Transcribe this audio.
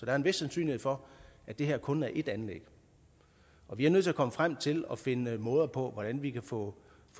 er en vis sandsynlighed for at det her kun er ét anlæg vi er nødt til at komme frem til at finde måder på hvordan vi kan få